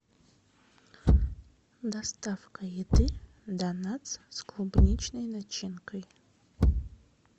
доставка еды донатс с клубничной начинкой